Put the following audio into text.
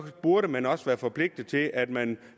burde man også være forpligtet til at man